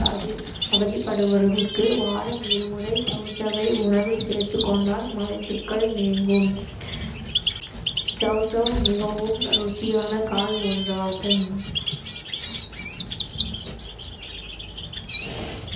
அதி~ அவதிப்படுபவர்களுக்கு வாரம் இரு முறை சௌசௌவை உணவில் சேர்த்துக்கொண்டால் மலச்சிக்கல் நீங்கும் சௌசௌ மிகவும் ருசியான காய் ஒன்றாகும்